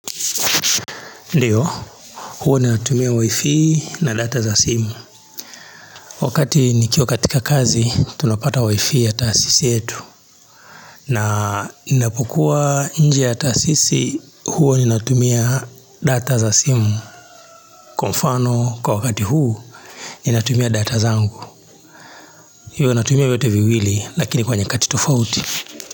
Ndiyo, huwa natumia wifi na data za simu. Wakati nikiwa katika kazi, tunapata wifi ya taasisi yetu. Na ninapokua nje ya taasisi, huwa natumia data za simu. Kwa mfano, kwa wakati huu, natumia data zangu. Huwa natumia yote viwili, lakini kwa nyakati tofauti.